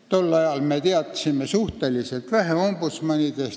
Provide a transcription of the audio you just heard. Tol ajal me teadsime ombudsmanidest suhteliselt vähe.